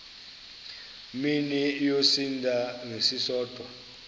mini yosinda ngesisodwa